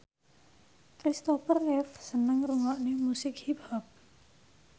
Christopher Reeve seneng ngrungokne musik hip hop